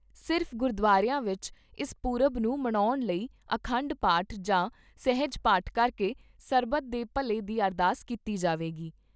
ਸਿਰਫ਼ ਗੁਰਦੁਆਰਿਆਂ ਵਿੱਚ ਇਸ ਪੁਰਬ ਨੂੰ ਮਨਾਉਣ ਲਈ ਅਖੰਡ ਪਾਠ ਜਾਂ ਸਹਿਜ ਪਾਠ ਕਰਕੇ ਸਰਬੱਤ ਦੇ ਭਲੇ ਦੀ ਅਰਦਾਸ ਕੀਤੀ ਜਾਵੇਗੀ।